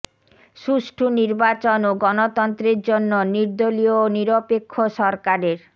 সুষ্ঠু নির্বাচন ও গণতন্ত্রের জন্য নির্দলীয় ও নিরপেক্ষ সরকারের